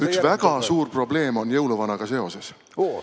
Üks väga suur probleem on jõuluvanaga seoses.